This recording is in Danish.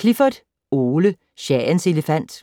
Clifford, Ole: Shahens elefant